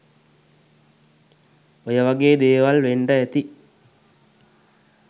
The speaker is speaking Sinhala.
ඔය වගේම දේවල් වෙන්ඩ ඇති